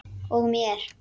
Og mér.